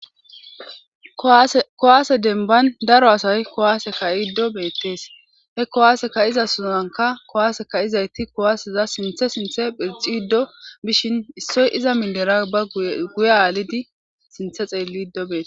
kowaase denban daro asay kowaase ka7iddo beettes he kowaase ka7iza sunanka kowaase kayizayti kowaaseza sinthe sinthe phirxi ddo bishin issoy iza mindera ba guye aalidi sinthe xeelli iddo beete